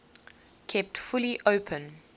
kept fully open